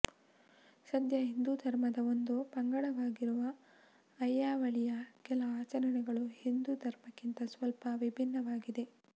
ಸದ್ಯ ಹಿಂದೂ ಧರ್ಮದ ಒಂದು ಪಂಗಡವಾಗಿರುವ ಅಯ್ಯಾ ವಳಿಯ ಕೆಲ ಆಚರಣೆಗಳು ಹಿಂದೂ ಧರ್ಮದಕ್ಕಿಂತ ಸ್ವಲ್ಪ ವಿಭಿನ್ನವಾಗಿವೆ